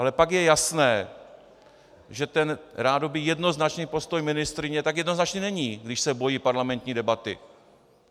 Ale pak je jasné, že ten rádoby jednoznačný postoj ministryně tak jednoznačný není, když se bojí parlamentní debaty.